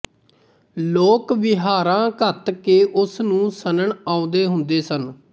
ਲੋਕ ਵਹੀਰਾਂ ਘੱਤ ਕੇ ਉਸ ਨੂੰ ਸਣਨ ਆਉਂਦੇ ਹੁੰਦੇ ਸਨ